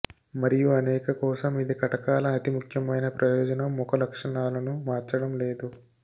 మరియు అనేక కోసం ఇది కటకాల అతి ముఖ్యమైన ప్రయోజనం ముఖ లక్షణాలను మార్చడం లేదు